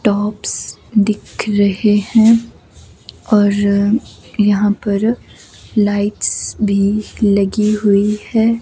Tops दिख रहे हैं और यहां पर लाइट्स भी लगी हुई हैं।